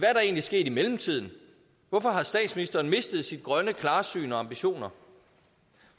er der egentlig sket i mellemtiden hvorfor har statsministeren mistet sit grønne klarsyn og de ambitioner